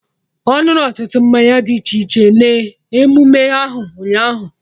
Ọ ñụrụ ọtụtụ mmanya dị iche iche na emume ahụ, ụnyaahụ